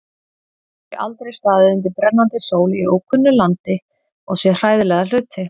Þau aldrei staðið undir brennandi sól í ókunnu landi og séð hræðilega hluti.